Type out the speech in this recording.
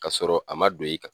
Kasɔrɔ a ma don i kan